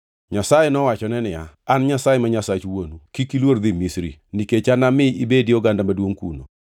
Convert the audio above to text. Nyasaye nowachone niya, “An Nyasaye ma Nyasach wuonu. Kik iluor dhi Misri, nikech anami ibedi oganda maduongʼ kuno.